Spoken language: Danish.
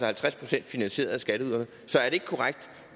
halvtreds procent finansieret af skatteyderne så er det ikke korrekt